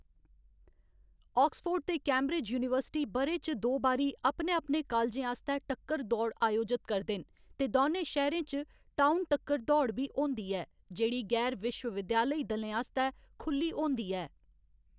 Oxford ते Cambridge university ब'रे च दो बारी अपने अपने कालजें आस्तै टक्कर दौड़ आयोजत करदे न, ते दौनें शैह्‌‌‌रें च टाउन टक्कर दौड़ बी होंदी ऐ, जेह्‌‌ड़ी गैर विश्वविद्याली दलें आस्तै खु'ल्ली होंदी ऐ।